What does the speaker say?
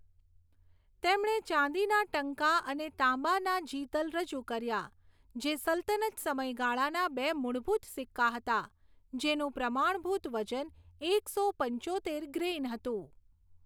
તેમણે ચાંદીના ટંકા અને તાંબાના જિતલ રજૂ કર્યા, જે સલ્તનત સમયગાળાના બે મૂળભૂત સિક્કા હતા, જેનું પ્રમાણભૂત વજન એકસો પંચોતેર ગ્રેઇન હતું.